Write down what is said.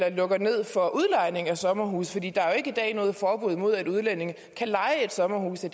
lukker ned for udlejning af sommerhuse fordi der i dag ikke er noget forbud mod at udlændinge kan leje et sommerhus i